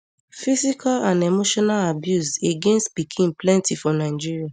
physical and emotional abuse against pikin plenti for nigeria